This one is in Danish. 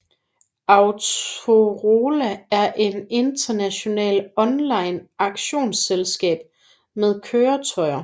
Autorola er et international online auktionsselskab med køretøjer